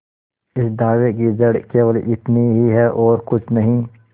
इस दावे की जड़ केवल इतनी ही है और कुछ नहीं